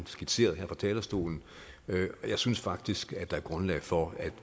skitserede her fra talerstolen jeg synes faktisk at der er grundlag for at